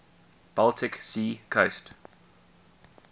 baltic sea coast